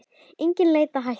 Engin leið að hætta.